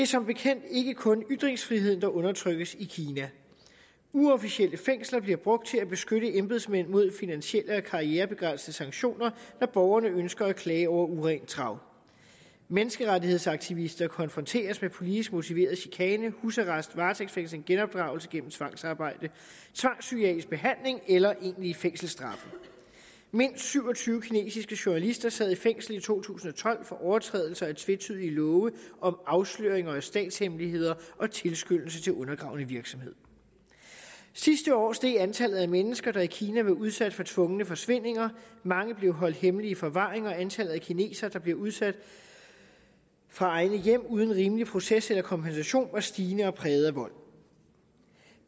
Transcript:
som bekendt ikke kun ytringsfriheden der undertrykkes i kina uofficielle fængsler bliver brugt til at beskytte embedsmænd mod finansielle og karrierebegrænsende sanktioner når borgerne ønsker at klage over urent trav menneskerettighedsaktivister konfronteres med politisk motiveret chikane husarrest varetægtsfængsling genopdragelse gennem tvangsarbejde tvangspsykiatrisk behandling eller egentlige fængselsstraffe mindst syv og tyve kinesiske journalister sad i fængsel i to tusind og tolv for overtrædelse af tvetydige love om afsløringer af statshemmeligheder og tilskyndelse til undergravende virksomhed sidste år steg antallet af mennesker der i kina var udsat for tvungne forsvindinger mange blev holdt hemmeligt i forvaring og antallet af kinesere der blev udsat fra egne hjem uden rimelig proces eller kompensation var stigende og præget af vold